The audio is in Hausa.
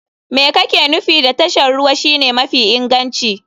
Me kake nufi da tashar ruwa shine mafi inganci?